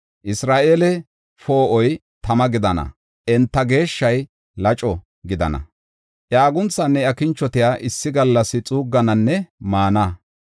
Isra7eele Poo7oy tama gidana; enta Geeshshay laco gidana. Iya agunthanne iya kinchotiya issi gallas xuuggananne maana.